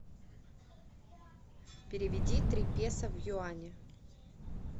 переведи три песо в юани